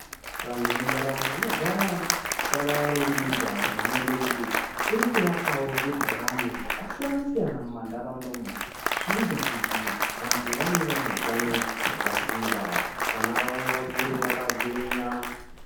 Vantu vemuntaraunda vanogara vakarumbidza hurumende kuti irikuvakavo zvibhorani zvakasiyana-siyana mumantaraunda umu. Zvinoita kuti vantu vave vane hutano hwakasimba vana vavo vakure vakagwinya.